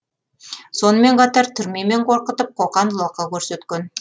сонымен қатар түрмемен қорқытып қоқан лоқы көрсеткен